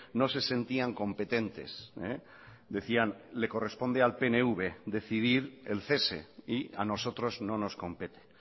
no se sentían competentes decían le corresponde al pnv decidir el cese y a nosotros no nos compete